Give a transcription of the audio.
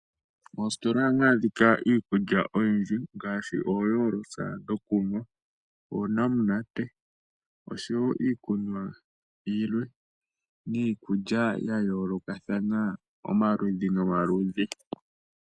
Mositola ohamu adhikwa iikulya oyindji ngaashi ooyolosa dhokunwa, oonamunate oshowo iikunwa yilwe niikulya ya yoolokathana omaludhi nomaludhi.